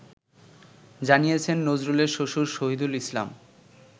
জানিয়েছেন নজরুলের শ্বশুর শহীদুল ইসলাম